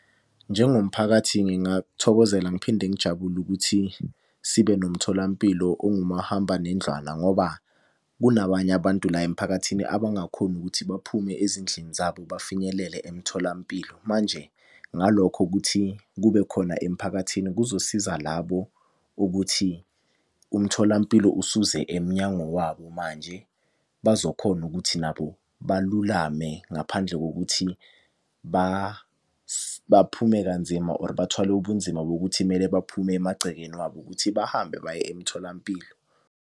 Njengomphakathi ngingakuthokozela ngiphinde ngijabule ukuthi sibe nomtholampilo ongumahambanendlwana ngoba kunabanye abantu la emphakathini abangakhoni ukuthi baphume ezindlini zabo bafinyelele emtholampilo. Manje ngalokho ukuthi kubekhona emphakathini kuzosiza labo ukuthi umtholampilo usuze emnyango wabo manje. Bazokhona ukuthi nabo balulame ngaphandle kokuthi baphume kanzima or bathwale ubunzima bokuthi kumele baphume emagcekeni wabo ukuthi bahambe baye emtholampilo.